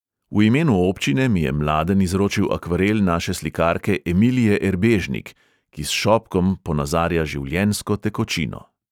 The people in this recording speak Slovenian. V imenu občine mi je mladen izročil akvarel naše slikarke emilije erbežnik, ki s šopkom ponazarja življenjsko tekočino.